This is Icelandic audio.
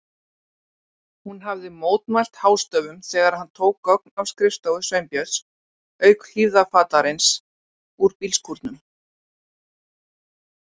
Hún hafði mótmælt hástöfum þegar hann tók gögn af skrifstofu Sveinbjörns, auk hlífðarfatnaðarins úr bílskúrnum.